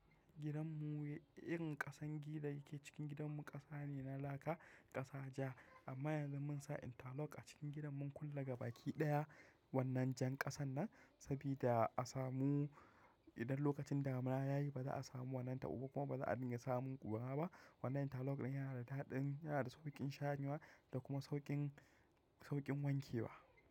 Gidan mu, irin ƙasan gida da yake cikin gidan mu ƙasa ne na laka, ƙasa ja. Amma yanzu mun sa interlock a cikin gidan mun kulla gabaki ɗaya wannan jan ƙasan nan, sabida a samu idan lokacin damuna yayi ba za a samu wannan taɓo ba kuma ba za a dinga samun ƙura ba. Wannan interlock ɗin yana da daɗin, yana da sauƙin sharewa da kuma sauƙin, sauƙin wanke wa.